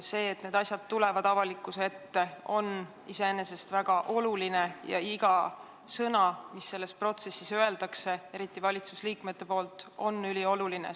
See, et need asjad tulevad avalikkuse ette, on väga oluline ja iga sõna, mis selles protsessis öeldakse, eriti valitsusliikmete poolt, on ülioluline.